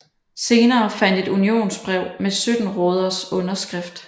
Senere fandtes et unionsbrev med 17 råders underskrift